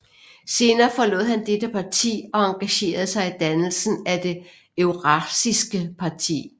Senere forlod han dette parti og engagerede sig i dannelsen af Det eurasiske parti